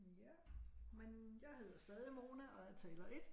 Ja men jeg hedder stadig Mona og er taler 1